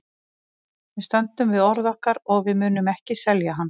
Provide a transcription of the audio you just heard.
Við stöndum við orð okkar og við munum ekki selja hann.